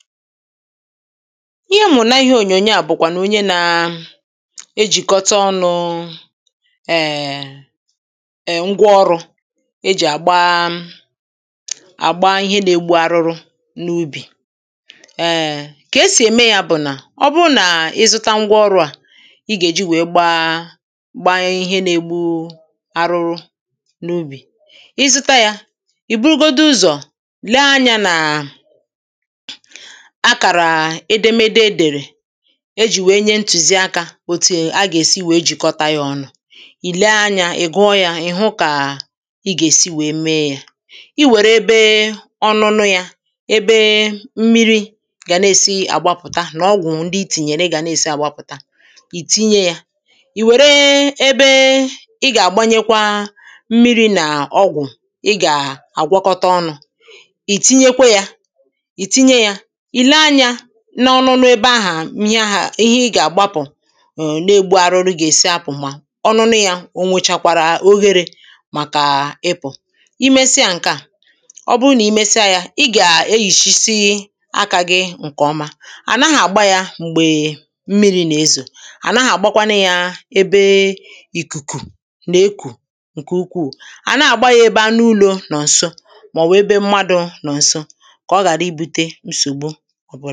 ihe m hụ̀rụ̀ n’ ihe ònyònyo à bụ̀kwànụ̀ onye na-ejìkọta ọnụ̀ èè ngwaọrụ̇ e jì àgba àgba ihe na-egbu arụrụ n’ ubì kà e sì ème ya bụ̀ nà ọ bụrụ nà ịzụta ngwa ọrụ̇ à i gà-èji wèe gbaa gbaa ihe na-egbu arụrụ n’ ubì ịzụta yȧ ì burugodu ụzọ̀ lee anyȧ nà akàrà edemede e dèrè e jì wèe nye ntùziakȧ otu a gà-èsi wèe jikọta ya ọnụ̇ ì lee anyȧ ì gụọ yȧ ì hụ kà ị gà-èsi wèe mee ya i wère ebe ọ nụnụ ya ebe mmiri̇ gà na-èsi àgbapụ̀ta nà ọgwụ̀ ndị itìnyèrè gà na-èsi àgbapụ̀ta ì tinye ya ì wère ebe ị gà-àgbanyekwa mmiri̇ nà ọgwụ̀ ị gà-àgwọkọta ọnụ̇ ì tinyekwe ya pìle anyȧ n’ọnụnụ ebe ahà ihẹ ahà ihe ị gà-àgbapụ̀ ee na-egbu arụrụ gà-èsi apụ̀ ma ọnụnụ yȧ o nwụchàkwàrà ogherė màkà ịpụ̀ i mesịa ǹkẹ̀ à ọ bụrụ nà i mesịa yȧ ị gà-eyìchisi akȧ gị ǹkẹ̀ ọma à naghị̇ àgba yȧ m̀gbè mmiri̇ nà-ezò à naghị̇ àgbakwanụ yȧ ebe ìkùkù nà-ekù ǹkè ukwuù à naghị̇ àgba ya ebe anụ ulọ̇ nọ̀ ǹso màọ̀wà ebe mmadụ̇ nọ̀ ǹso kà ọ ghàra ibu̇te nsògbu ọ bụ